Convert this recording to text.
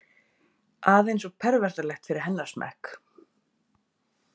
Aðeins of pervertalegt fyrir hennar smekk.